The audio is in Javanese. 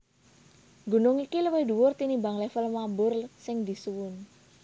Gunung iki luwih dhuwur tinimbang lèvel mabur sing disuwun